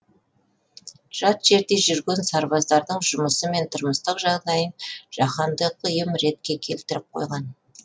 жат жерде жүрген сарбаздардың жұмысы мен тұрмыстық жағдайын жаһандық ұйым ретке келтіріп қойған